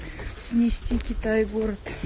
снести китай город